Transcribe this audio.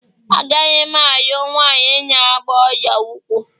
Agaghị m alụ nwanyị na agba ọla ụkwụ